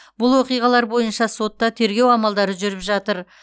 бұл оқиғалар бойынша сотта тергеу амалдары жүріп жатыр